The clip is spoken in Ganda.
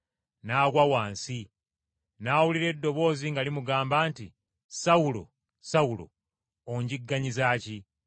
N’agwa wansi, n’awulira eddoboozi nga limugamba nti, “Sawulo! Sawulo! Onjigganyiza ki?”